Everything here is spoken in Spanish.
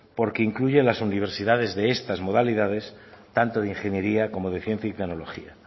porque incluyen las universidades de estas modalidades tanto de ingeniería como de ciencia y tecnología